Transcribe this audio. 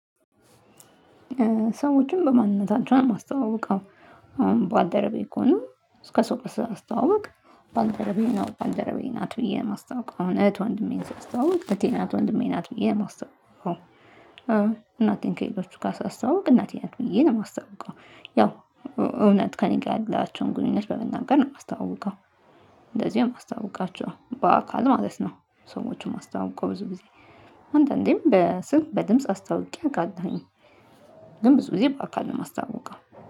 ሰዎችን በማንነታቸውን ማስተዋወቁ። ባልደረቤ እኮ ነው። እስከ ሰው ሳተዋወቅ። ባንደረቤ ነው ባንደረቤ ናት ብዬ ማስታወቅ አሁን እህት ወንድሜን ስታስተዋውቅ እህቴ ናት ወንድሜ ናት ብዬ የማስተዎውቀው። እናቴን ከሌሎቹ ሳስተዎዉቅ እናቴ ናት ብዬ ነው የማስተዎዉቀው። ያው እውነት ከእኔ ጋር ያላቸውን ግንኙነት በመናገር ነው የማስተዋውቀው። እንደዚህ ማስተዋውቃቸውም በአካል ማለት ነው። ሰዎችን ማስታወቂያ ብዙ ጊዜ አንዳንዴም በስንት በድምጽ አስታውቄ አውቃለሁኝ። ድም ብዙ ጊዜ በአካባቢ ማስታወቂያ